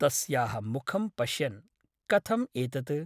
तस्याः मुखं पश्यन् ' कथम् एतत् ?